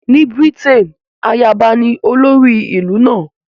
Ní Britain, ayaba ní olórí ìlú náà